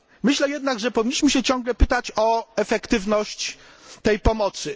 Myślę jednak, że powinniśmy ciągle pytać o efektywność tej pomocy.